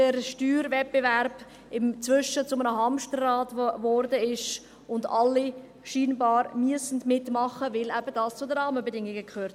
Der Steuerwettbewerb wurde inzwischen zu einem Hamsterrad, und scheinbar müssen alle mitmachen, weil dies eben zu den Rahmenbedingungen gehört.